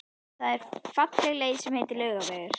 Það er falleg leið sem heitir Laugavegur.